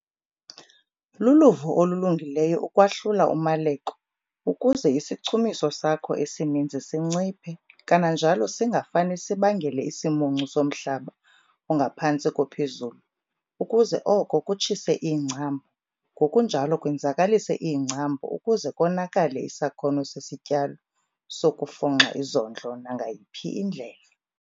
Luluvo olulungileyo ukwahlula umaleko ukuze isichumiso sakho esininzi sinciphe kananjalo singafane sibangele isimuncu somhlaba ongaphantsi kophezulu ukuze oko kutshise iingcambu ngokunjalo kwenzakalise iingcambu ukuze konakale isakhono sesityalo sokufunxa izondlo nangayiphi indlela.